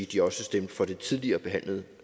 de også stemmer for det tidligere behandlede